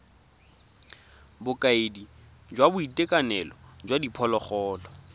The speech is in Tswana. bokaedi jwa boitekanelo jwa diphologolo